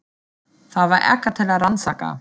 Það var ekkert til að rannsaka.